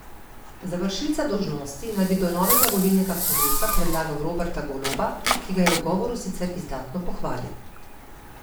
Za vršilca dolžnosti naj bi do novega volilnega kongresa predlagal Roberta Goloba, ki ga je v govoru sicer izdatno pohvalil.